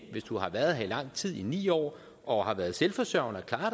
hvis du har været her i lang tid i ni år og har været selvforsørgende og har